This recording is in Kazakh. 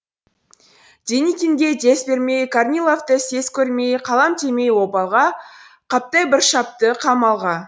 деникинге дес бермей корниловты сес көрмей қалам демей обалға қаптай бір шапшы қамалға